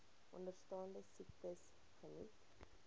onderstaande siektes geniet